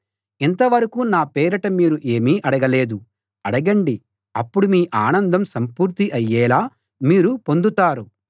ఇంతవరకూ నా పేరిట మీరు ఏమీ అడగలేదు అడగండి అప్పుడు మీ ఆనందం సంపూర్తి అయ్యేలా మీరు పొందుతారు